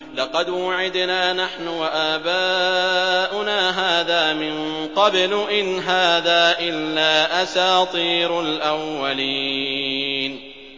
لَقَدْ وُعِدْنَا نَحْنُ وَآبَاؤُنَا هَٰذَا مِن قَبْلُ إِنْ هَٰذَا إِلَّا أَسَاطِيرُ الْأَوَّلِينَ